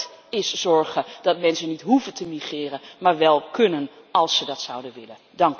Dat is zorgen dat mensen niet hoeven te migreren, maar wel kunnen als ze dat zouden willen.